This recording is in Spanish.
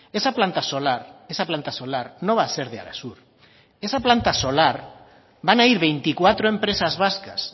esa planta solar esa planta solar no va a ser de arasur esa planta solar van a ir veinticuatro empresas vascas